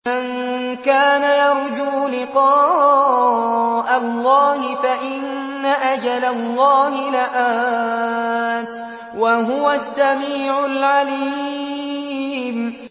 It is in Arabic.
مَن كَانَ يَرْجُو لِقَاءَ اللَّهِ فَإِنَّ أَجَلَ اللَّهِ لَآتٍ ۚ وَهُوَ السَّمِيعُ الْعَلِيمُ